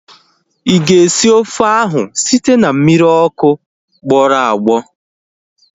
Ịga esi ofe ahu site na mmiri ọkụ ogbugbọ?